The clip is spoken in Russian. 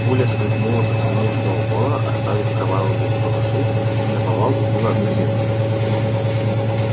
пуля скользнула по спине сноуболла оставив кровавую полосу и наповал убила одну из овец